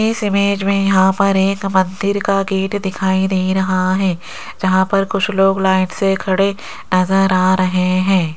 इस इमेज मे यहां पर एक मंदिर का गेट दिखाई दे रहा है जहां पर कुछ लोग लाइन से खड़े नजर आ रहे हैं।